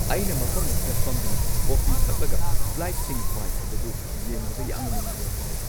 ꯑꯩꯅ ꯃꯐꯝ ꯑꯁꯤꯗ ꯐꯝꯗꯨꯅ ꯀꯣꯐꯤ ꯊꯛꯂꯒ ꯐ꯭ꯂꯥꯏꯠꯁꯤꯡ ꯄꯥꯏꯈꯤꯕꯗꯨ ꯌꯦꯡꯕꯗ ꯌꯥꯝꯅ ꯅꯨꯡꯉꯥꯏꯕ ꯐꯥꯎꯏ꯫